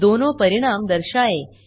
दोनों परिणाम दर्शाएँ